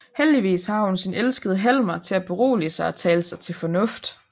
Heldigvis har hun sin elskede Helmer til at berolige sig og tale sig til fornuft